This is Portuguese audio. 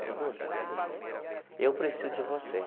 Eu falei, Lúcia, eu preciso de você.